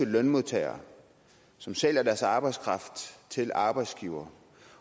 lønmodtagere som sælger deres arbejdskraft til arbejdsgivere